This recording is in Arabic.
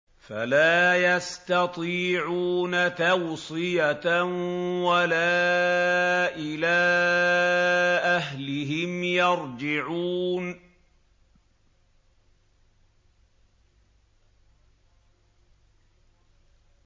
فَلَا يَسْتَطِيعُونَ تَوْصِيَةً وَلَا إِلَىٰ أَهْلِهِمْ يَرْجِعُونَ